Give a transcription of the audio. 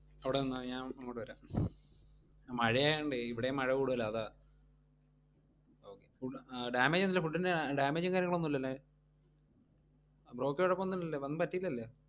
അവിട നിന്നാ മതി, ഞാൻ അങ്ങോട്ട് വരാം. മഴയായോണ്ടേ ഇവിടേയും മഴകൂടുതലാ അതാ okay, food അഹ് damage ഒന്നും ഇല്ലലോ food ന് damage ഉം കാര്യങ്ങളും ഒന്നില്ലല്ലോ bro ക്ക് കൊഴപ്പോന്നുല്ലല്ലോ? ഒന്നും പറ്റീലല്ലൊ